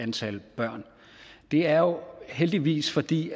antal børn det er jo heldigvis fordi